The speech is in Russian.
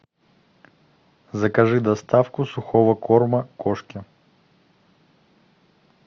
закажи доставку сухого корма кошке